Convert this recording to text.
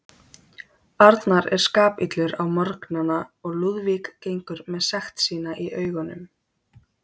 Arnar er skapillur á morgnana og Lúðvík gengur með sekt sína í augunum.